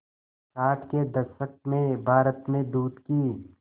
साठ के दशक में भारत में दूध की